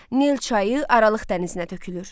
Nil çayı Aralıq dənizinə tökülür.